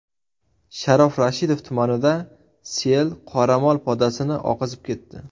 Sharof Rashidov tumanida sel qoramol podasini oqizib ketdi .